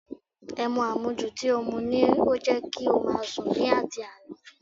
Ẹmu àmujù tí ó mú ni ó jẹ́ kí ó máa sùn ni àti àná